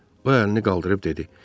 O əlini qaldırıb dedi: